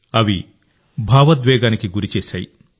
అవి భావోద్వేగానికి గురి చేస్తాయి